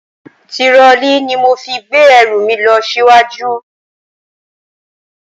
Tirọlí ni mo fi gbé ẹrù mi lọ síwájú.